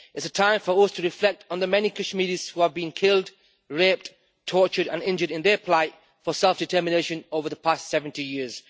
It is a time for us to reflect on the many Kashmiris who are being killed, raped, tortured and injured and their fight for self-determination over the past 70 years.